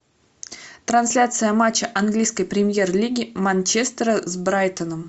трансляция матча английской премьер лиги манчестера с брайтоном